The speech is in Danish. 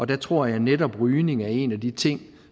der tror jeg netop at rygning er en af de ting